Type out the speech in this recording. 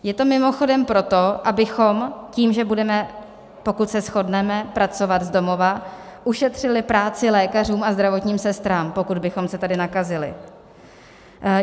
Je to mimochodem proto, abychom, tím že budeme, pokud se shodneme, pracovat z domova, ušetřili práci lékařům a zdravotním sestrám, pokud bychom se tady nakazili.